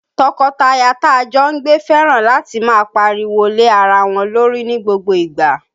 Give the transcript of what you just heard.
Tọkọtaya ta jọ ń gbé fẹ́ràn láti máa pariwo lé ara wọn lórí ní gbogbo ìgbà